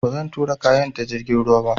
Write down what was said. Ba zan tura kayan ta jirgin ruwa ba